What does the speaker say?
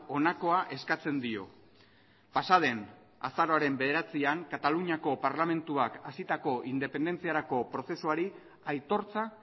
honakoa eskatzen dio pasa den azaroaren bederatzian kataluniako parlamentuak hasitako independentziarako prozesuari aitortza